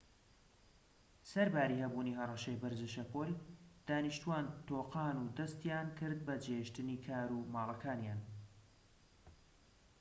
سەرباری هەبوونی هەڕەشەی بەرزە شەپۆل دانیشتوان تۆقان و دەستیان کرد بە جێهێشتنی کار و ماڵەکانیان